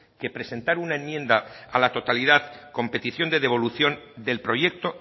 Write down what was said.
que presentar una enmienda a la totalidad con petición de devolución del proyecto